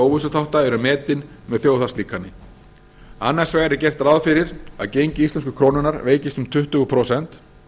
óvissuþátta eru metin með þjóðhagslíkani annars vegar er gert ráð fyrir að gengi íslensku krónunnar veikist um tuttugu prósent